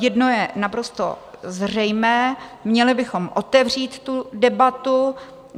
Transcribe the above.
Jedno je naprosto zřejmé, měli bychom otevřít tu debatu.